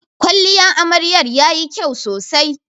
Kwalliyan amaryar yayi kyau sosai.